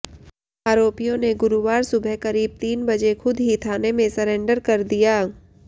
आरोपियों ने गुरुवार सुबह करीब तीन बजे खुद ही थाने में सरेंडर कर दिया